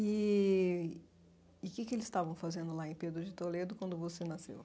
Eee... e que que eles estavam fazendo lá em Pedro de Toledo quando você nasceu?